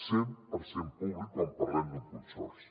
cent per cent públic quan parlem d’un consorci